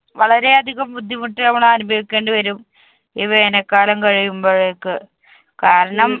വളരെ അധികം ബുദ്ധിമുട്ട് നമ്മളനുഭവിക്കേണ്ടിവരും ഈ വേനൽ കാലം കഴിയുമ്പോഴേക്ക്. കാരണം,